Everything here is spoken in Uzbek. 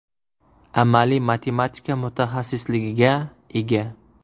Amaliy matematika mutaxassisligiga ega.